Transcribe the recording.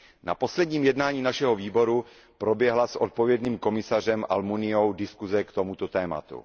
Na posledním jednání našeho výboru proběhla s odpovědným komisařem Almuniou diskuze k tomuto tématu.